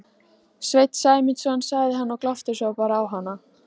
Sveinn Sæmundsson sagði hann og glápti svo bara á hana.